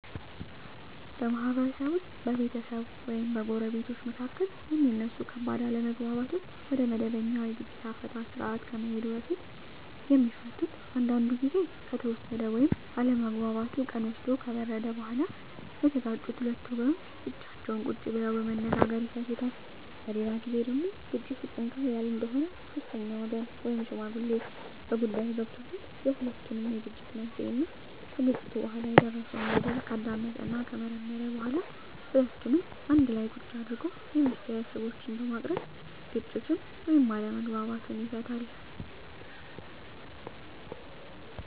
በማህበረሰብ ውስጥ በቤተሰብ ወይም በጎረቤቶች መካከል የሚነሱ ከባድ አለመግባባቶች ወደመበኛ የግጭት አፈታት ስርአት ከመሄዱ በፊት የሚፈቱት አንዳንዱ ግዜ ከተወሰደ ወይም አለመግባባቱ ቀን ወስዶ ከበረደ በኋላ የተጋጩት ሁለት ወገኖች ብቻቸውን ቁጭ ብለው በመነጋገር ይፈቱታል። በሌላ ግዜ ደግሞ ግጭቱ ትንሽ ጠንከር ያለ እንደሆነ ሶስተኛ ወገን ወይም ሽማግሌ በጉዳይዮ ገብቶበት የሁለቱንም የግጭት መንሴና ከግጭቱ በኋላ የደረሰው በደል ካዳመጠና ከመረመረ በኋላ ሁለቱንም አንድላ ቁጭ አድርጎ የመፍትሄ ሀሳቦችን በማቅረብ ግጭቱን ወይም አለመግባባቱን ይፈታል።